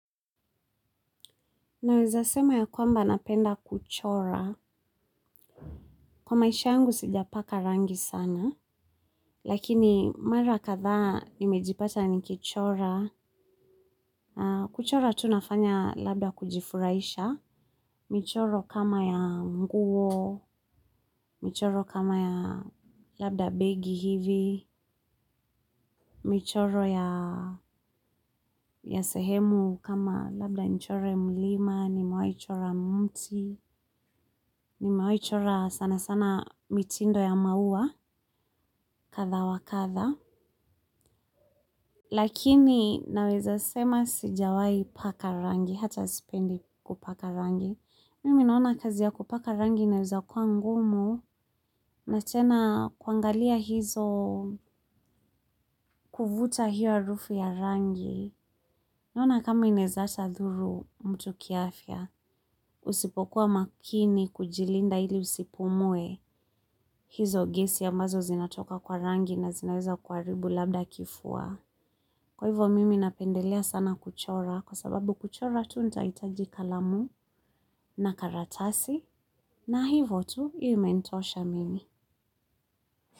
Naweza sema ya kwamba napenda kuchora, kwa maisha yangu sijapaka rangi sana, lakini mara kadhaa nimejipata nikichora, kuchora tu nafanya labda kujifurahisha, michoro kama ya nguo, michoro kama ya labda begi hivi, michoro ya sehemu kama labda nichore mlima, nimewahi chora mti, nimewahi chora sana sana mitindo ya maua. Kadhaa wa kadhaa lakini naweza sema sijawai paka rangi hata sipendi kupaka rangi mimi naona kazi ya kupaka rangi inaweza kuwa ngumu na tena kuangalia hizo kuvuta hiyo harufu ya rangi naona kama inaeza ata dhuru mtu kiafya usipokuwa makini kujilinda ili usipumue hizo gesi ambazo zinatoka kwa rangi na zinaweza kuharibu labda kifua. Kwa hivyo mimi napendelea sana kuchora kwa sababu kuchora tu nitahitaji kalamu na karatasi na hivo tu hiyo imenitosha mimi.